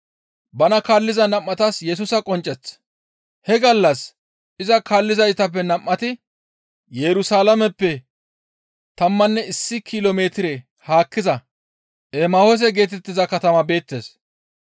He gallas iza kaallizaytappe nam7ati Yerusalaameppe tammanne issi kilo metire haakkiza Emahoose geetettiza katama beettes.